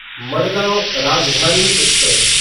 Madgaon Rajdhani express